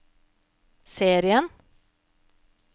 serien